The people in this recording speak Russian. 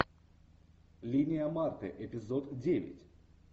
линия марты эпизод девять